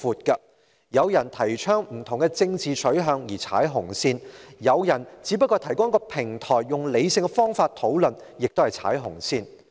有人提倡不同的政治取向，被視為是踩"紅線"；有人只是提供一個平台，讓人以理性方法討論，同樣是踩"紅線"。